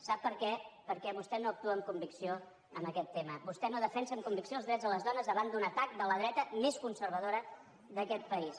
sap per què perquè vostè no actua amb convicció en aquest tema vostè no defensa amb convicció els drets de les dones davant d’un atac de la dreta més conservadora d’aquest país